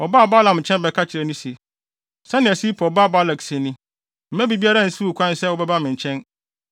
Wɔbaa Balaam nkyɛn bɛka kyerɛɛ no se, “Sɛnea Sipor ba Balak se ni, ‘Mma biribiara nsiw wo kwan sɛ wobɛba me nkyɛn,